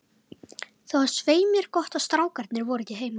Það var svei mér gott að strákarnir voru ekki heima.